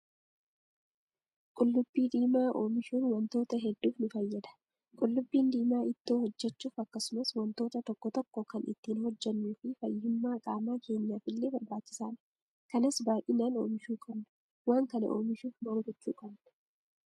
Qullubbii diimaa oomishuun wantoota hedduuf nu fayyada. Qullubbiin diimaa ittoo hojjachuuf akkasumas wantoota tokko tokko kan ittiin hojjannuu fi fayyummaa qaama keenyaaf illee barbaachisaadha. Kanas baay'inaan oomishuu qabna. Waan kana oomishuuf maal gochuu qabnaa?